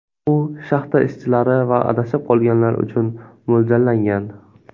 U shaxta ishchilari va adashib qolganlar uchun mo‘ljallangan.